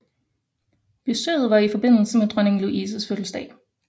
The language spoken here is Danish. Besøget var i forbindelse dronning Louises fødselsdag